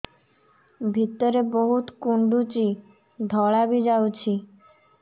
ଭିତରେ ବହୁତ କୁଣ୍ଡୁଚି ଧଳା ବି ଯାଉଛି